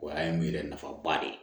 O y'a ye n yɛrɛ nafaba de ye